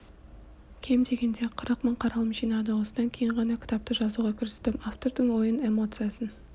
кем дегенде қырық мың қаралым жинады осыдан кейін ғана кітапты жазуға кірістім автордың ойын эмоциясын